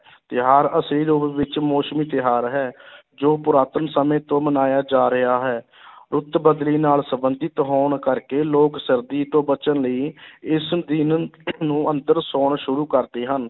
ਤਿਉਹਾਰ ਅਸਲੀ ਰੂਪ ਵਿੱਚ ਮੌਸਮੀ ਤਿਉਹਾਰ ਹੈ ਜੋ ਪੁਰਾਤਨ ਸਮੇਂ ਤੋਂ ਮਨਾਇਆ ਜਾ ਰਿਹਾ ਹੈ ਰੁੱਤ ਬਦਲੀ ਨਾਲ ਸੰਬੰਧਿਤ ਹੋਣ ਕਰਕੇ ਲੋਕ ਸਰਦੀ ਤੋਂ ਬਚਣ ਲਈ ਇਸ ਦਿਨ ਨੂੰ ਅੰਦਰ ਸੌਣਾ ਸ਼ੁਰੂ ਕਰਦੇ ਹਨ।